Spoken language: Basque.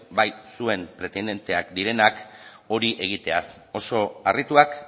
bai zuen pretendienteak direnak hori egiteaz oso harrituak